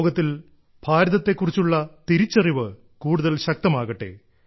ലോകത്തിൽ ഭാരതത്തെ കുറിച്ചുള്ള തിരിച്ചറിവ് കൂടുതൽ ശക്തമാകട്ടെ